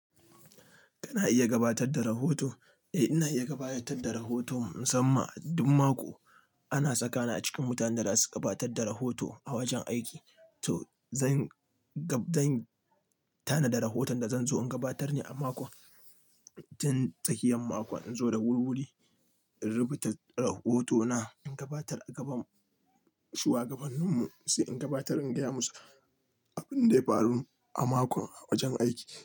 Kana iya gabatar da rahoto? Eh, ina iya gabatar da rahoto musamman duk mako ana saka ni a cikin mutanen da za su gabatar da rahoto a wajen aiki. To zan tanadi rahoton da zan zo in gabatar ne a makon. Tin tsakiyan mako in zo da wuri-wuri in rubuta rahoto na in gabatar a gaban shuwagabannin mu sai in gabatar in gaya musu abin da ya faru a makon a wajen aiki.